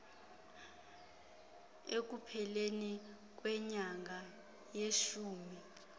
ekupheleni kwenyanga yeshumi